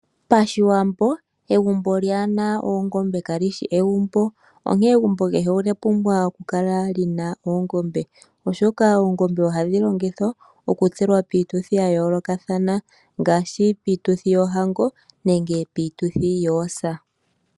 Pashiwambo egumbo lyaahena oongombe kalishi egumbo onkene egumbo kehe olya pumbwa oku kala lina oongombe. Oongombe ohadhi longithwa okutselwa piituthi yayoolokathana ngaashi piituthi yoohango nenge piituthi yoosa.